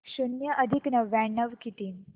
शून्य अधिक नव्याण्णव किती